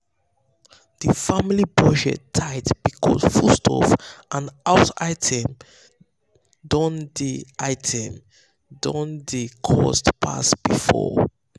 the family budget tight because foodstuff and house items don dey items don dey cost pass before.